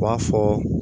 U b'a fɔ